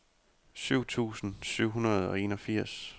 syv tusind syv hundrede og enogfirs